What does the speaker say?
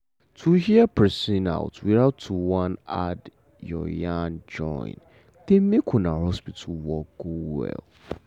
to hear person out without to wan add your yarn join dey make um hospital work go well.